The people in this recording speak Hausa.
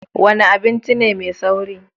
Wena abinci ne mai sauri.